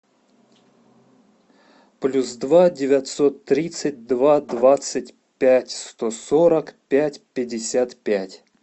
плюс два девятьсот тридцать два двадцать пять сто сорок пять пятьдесят пять